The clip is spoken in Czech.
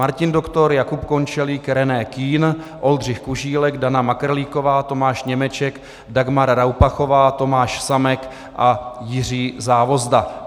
Martin Doktor, Jakub Končelík, René Kühn, Oldřich Kužílek, Dana Makrlíková, Tomáš Němeček, Dagmar Raupachová, Tomáš Samek a Jiří Závozda.